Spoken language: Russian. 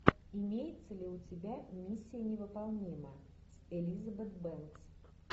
имеется ли у тебя миссия невыполнима элизабет бэнкс